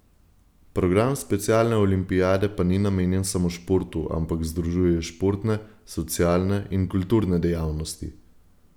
Program specialne olimpijade pa ni namenjen samo športu, ampak združuje športne, socialne in kulturne dejavnosti.